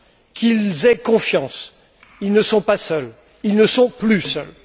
Qu'ils aient confiance, ils ne sont pas seuls, ils ne sont plus seuls!